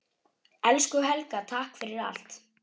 Elsku Helga, takk fyrir allt.